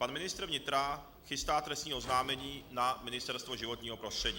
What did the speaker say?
Pan ministr vnitra chystá trestní oznámení na Ministerstvo životního prostředí.